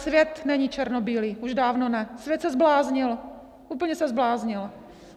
Svět není černobílý, už dávno ne, svět se zbláznil, úplně se zbláznil.